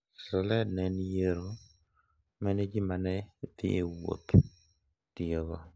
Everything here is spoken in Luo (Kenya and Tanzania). Sled ne en yiero ma ne ji ma ne dhi wuoth ​​tiyogo